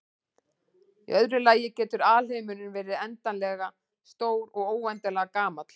Í öðru lagi getur alheimurinn verið endanlega stór og óendanlega gamall.